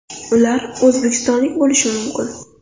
Ular o‘zbekistonlik bo‘lishi mumkin.